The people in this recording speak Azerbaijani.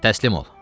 Təslim ol!